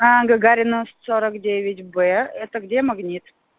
а гагарина сорок девять б это где магнит